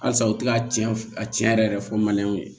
Halisa u t'a tiɲɛ a tiɲɛ yɛrɛ yɛrɛ fɔ ye